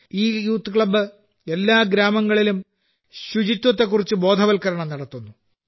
ഈ youth club എല്ലാ ഗ്രാമങ്ങളിലും ശുചിത്വത്തെക്കുറിച്ച് ബോധവൽക്കരണം നടത്തുന്നു